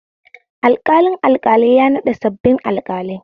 Alƙalin alƙalai ya naɗa sabbin alƙalai